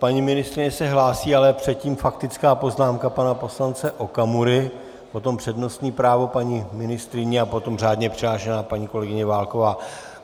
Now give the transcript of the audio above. Paní ministryně se hlásí, ale předtím faktická poznámka pana poslance Okamury, potom přednostní právo paní ministryně a potom řádně přihlášená paní kolegyně Válková.